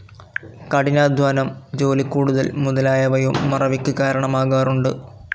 കഠിനാധ്വാനം, ജോലിക്കൂടുതൽ മുതലായവയും മറവിക്ക് കാരണമാകാറുണ്ട്.